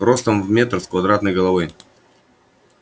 ростом в метр с квадратной головой